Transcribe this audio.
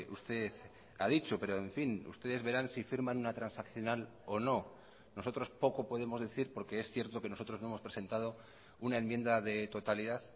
usted ha dicho pero en fin ustedes verán si firman una transaccional o no nosotros poco podemos decir porque es cierto que nosotros no hemos presentado una enmienda de totalidad